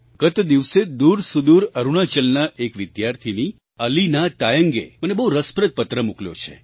ગત દિવસો દૂરસુદૂર અરુણાચલના એક વિદ્યાર્થિની અલીના તાયંગે મને બહુ રસપ્રદ પત્ર મોકલ્યો છે